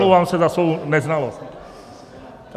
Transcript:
Omlouvám se za svou neznalost.